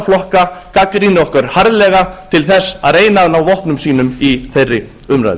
flokka gagnrýni okkur harðlega til þess að reyna að ná vopnum sínum í þeirri umræðu